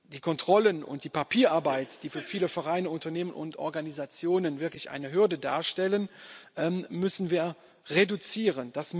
Die Kontrollen und die Papierarbeit, die für viele Vereine, Unternehmen und Organisationen wirklich eine Hürde darstellen, müssen wir reduzieren.